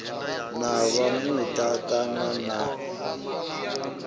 na vha muta kana na